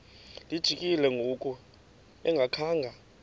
lijikile ngoku engakhanga